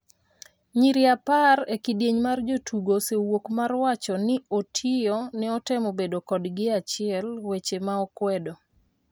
nyiri apar e kidieny' mar jotugo osewuok mar wacho ni Otiyo ne otemo bedo kodgi e achiel, weche ma okwedo.